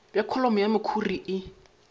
bja kholomo ya mekhuri e